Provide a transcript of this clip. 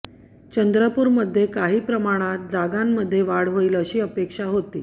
चंद्रूपूरमध्ये काही प्रमाणात जागांमध्ये वाढ होईल अशी अपेक्षा होती